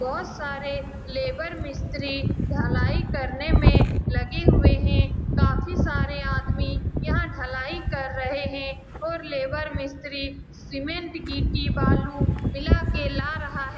बहुत सारे लेबर मिस्त्री ढ़लाई करने में लगे हुए हैं काफी सारे आदमी यहाँ ढ़लाई कर रहें हैं और लेबर मिस्त्री सीमेंट गिट्टी बालू मिला के ला रहा है।